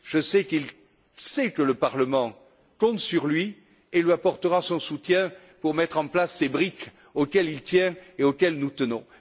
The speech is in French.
Je sais qu'il sait que le Parlement compte sur lui et lui apportera son soutien pour mettre en place ces briques auxquelles il tient et auquel nous tenons.